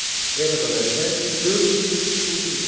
Eradan əvvəl 443-cü il.